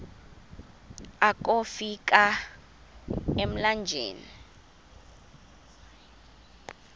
akofi ka emlanjeni